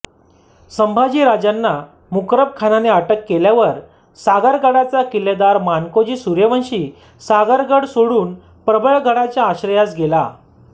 संभाजी राजांना मुकर्रब खानाने अटक केल्यावर सागरगडाचा किल्लेदार मानकोजी सूर्यवंशी सागरगड सोडून प्रबळगडाच्या आश्रयास गेला